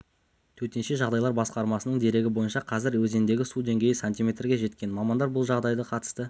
төтенше жағдайлар басқармасының дерегі бойынша қазір өзендегі су деңгейі сантиметрге жеткен мамандар бұл жағдайға қатысты